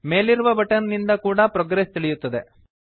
ಮೇಲಿರುವ ಬಟನ್ ನಿಂದ ಕೂಡಾ ಪ್ರೊಗ್ರೆಸ್ ತಿಳಿಯುತ್ತದೆ